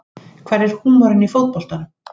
Hvar er húmorinn í fótboltanum